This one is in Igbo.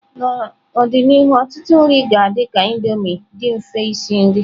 N'ọdịnihu ọtụtụ nri ga-adị ka Indomie, dị mfe isi nri.